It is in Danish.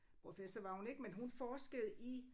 Professor var hun ikke men hun forskede i